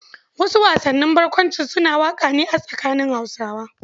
Wasu wasannin barkwancin suna wakana a tsakanin Hausawa.